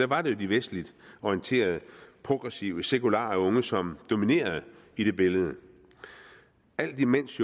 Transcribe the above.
var de vestligt orienterede progressive sekulariserede unge som dominerede i det billede alt imens